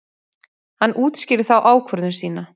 Hann útskýrði þá ákvörðun sína.